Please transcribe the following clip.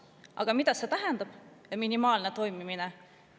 Aga mida see tähendab, minimaalne toimivus?